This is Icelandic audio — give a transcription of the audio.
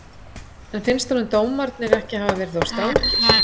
En finnst honum dómarnir ekki hafa verið of strangir?